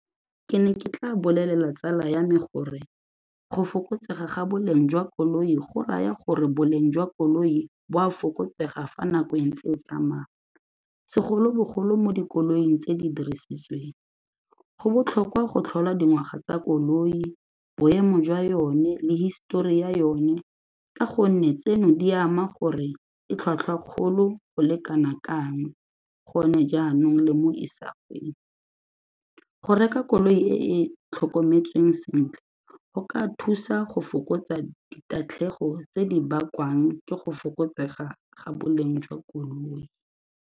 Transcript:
Ke ne ke tla bolelela tsala ya me gore go fokotsega ga boleng jwa koloi go raya gore boleng jwa koloi bo a fokotsega fa nako e ntse e tsamaya, segolobogolo mo dikoloing tse di dirisitsweng. Go botlhokwa go tlhola dingwaga tsa koloi, boemo jwa yone le hisetori ya yone ka gonne tseno di ama gore e tlhwatlhwa kgolo go le kana kang gone jaanong le mo isagong, go reka koloi e e tlhokometsweng sentle go ka thusa go fokotsa ditatlhegelo tse di bakwang ke go fokotsega ga boleng jwa koloi.